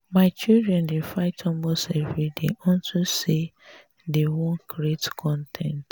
my children dey fight almost everyday unto say dey y wan create con ten t